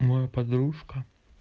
моя подружка